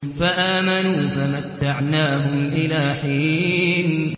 فَآمَنُوا فَمَتَّعْنَاهُمْ إِلَىٰ حِينٍ